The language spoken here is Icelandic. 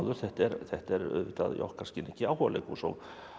þetta er þetta er auðvitað í okkar skilningi áhugaleikhús og